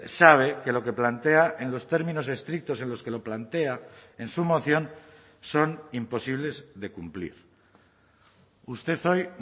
sabe que lo que plantea en los términos estrictos en los que lo plantea en su moción son imposibles de cumplir usted hoy